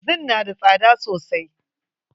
Zin na da tsada sosai.